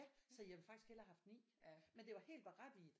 Ja så jeg ville faktisk hellere have haft 9 men det var helt berettiget